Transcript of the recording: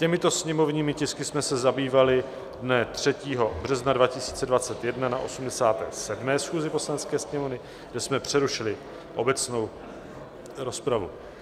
Těmito sněmovními tisky jsme se zabývali dne 3. března 2021 na 87. schůzi Poslanecké sněmovny, kdy jsme přerušili obecnou rozpravu.